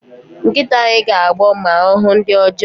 Nkịta anyị ga-agbọ ma ọ hụ ndị ọjọọ